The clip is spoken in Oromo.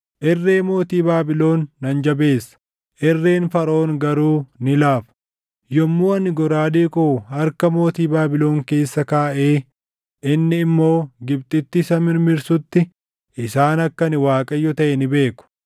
Irree mootii Baabilon nan jabeessa; irreen Faraʼoon garuu ni laafa. Yommuu ani goraadee koo harka mootii Baabilon keessa kaaʼee inni immoo Gibxitti isa mirmirsutti isaan akka ani Waaqayyo taʼe ni beeku.